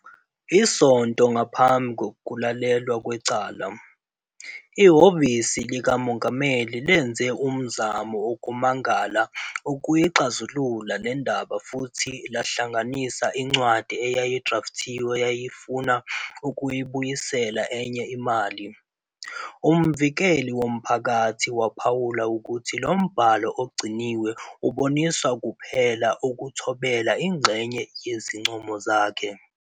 Isonto ngaphambi kokulalelwa kwecala, iHhovisi likaMongameli lenze umzamo wokumangala ukuyixazulula le ndaba futhi lahlanganisa incwadi eyayi-drafti eyayifuna ukuyibuyisela enye imali. Umvikeli Womphakathi waphawula ukuthi lo mbhalo ogciniwe ubonisa kuphela ukuthobela "ingxenye" yezincomo zakhe.